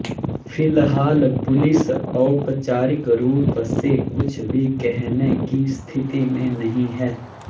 फिलहाल पुलिस औपचारिक रूप से कुछ भी कहने की स्थिति में नहीं है